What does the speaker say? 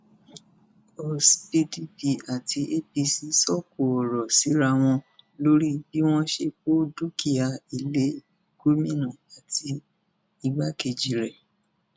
ọs pdp àti apc sọkò ọrọ síra wọn lórí bí wọn ṣe kó dúkìá ilé gómìnà àti igbákejì rè